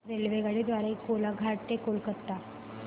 रेल्वेगाडी द्वारे कोलाघाट ते कोलकता